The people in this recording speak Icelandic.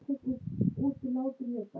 Eru þetta ekki mikil tíðindi?